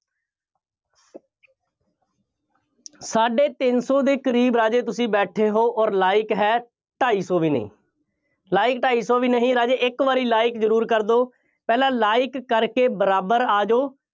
ਸਾਢੇ ਤਿੰਨ ਸੌ ਦੇ ਕਰੀਬ ਰਾਜੇ ਤੁਸੀਂ ਬੇਠੈ ਹੋ ਅੋਰ like ਹੈ ਢਾਈ ਸੌ ਵੀ ਨਹੀਂ। like ਢਾਈ ਸੌ ਵੀ ਨਹੀਂ, ਰਾਜੇ ਇੱਕ ਵਾਰੀ like ਜ਼ਰੂਰ ਕਰ ਦਿਓ। ਪਹਿਲਾਂ like ਕਰਕੇ ਬਰਾਬਰ ਆ ਜਾਓ।